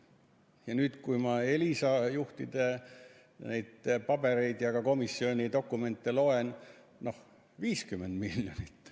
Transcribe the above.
Ja nüüd, kui ma Elisa juhtide pabereid ja ka komisjoni dokumente loen, siis seal on kirjas 50 miljonit.